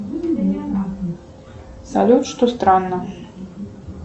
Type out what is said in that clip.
салют что странно